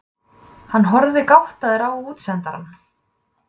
Hann horfði gáttaður á útsendarana.